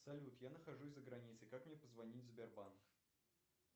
салют я нахожусь за границей как мне позвонить в сбербанк